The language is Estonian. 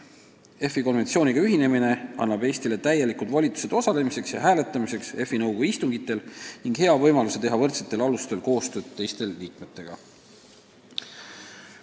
EFI konventsiooniga ühinemine annab Eestile täielikud volitused osaleda EFI nõukogu istungitel ja seal hääletada, ka saame hea võimaluse teha võrdsetel alustel koostööd teiste liikmetega.